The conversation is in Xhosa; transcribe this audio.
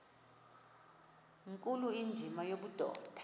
nkulu indima yobudoda